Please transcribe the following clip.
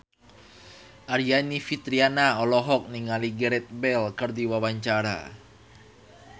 Aryani Fitriana olohok ningali Gareth Bale keur diwawancara